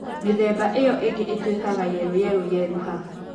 Mĩthemba iyo ĩngĩ ĩtũikaga yelo yerũ yeruha.